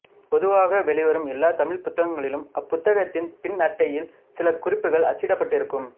பொதுவாக வெளிவரும் எல்லாத் தமிழ் புத்தகங்களிலும் அப்புத்தகத்தின் பின்னட்டையில் சில குறிப்புகள் அச்சிடப்பட்டு இருக்கும்